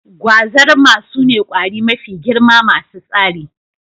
Gwazarma sune ƙwari mafi girma masu tsari